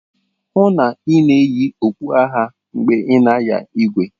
hụ na ị na-eyi okpu agha mgbe ị na-anya igwe!